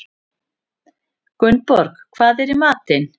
Gunnborg, hvað er í matinn?